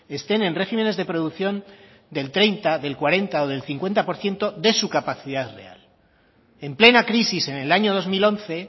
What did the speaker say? estén en regímenes de producción del treinta del cuarenta o del cincuenta por ciento de su capacidad real en plena crisis en el año dos mil once